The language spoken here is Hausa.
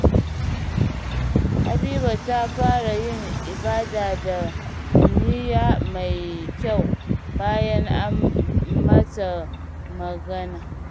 Habiba ta fara yin ibada da niyya mai kyau bayan an mata magana.